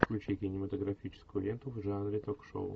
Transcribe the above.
включи кинематографическую ленту в жанре ток шоу